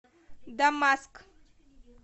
дамаск